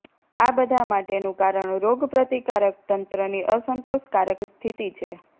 આ બધા માટેનું કારણ રોગપ્રતિકારક તંત્રની અસંતોષકારક સ્થિતિ છે